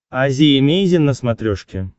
азия эмейзин на смотрешке